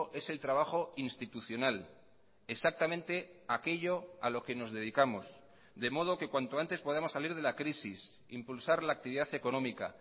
es el trabajo institucional exactamente aquello a lo que nos dedicamos de modo que cuanto antes podamos salir de la crisis impulsar la actividad económica